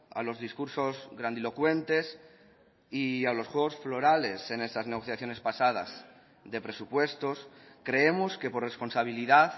a los discursos grandilocuentes y a los juegos florales en esas negociaciones pasadas de presupuestos creemos que por responsabilidad